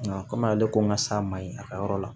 Nka komi ale ko n ka s'a ma yen a ka yɔrɔ la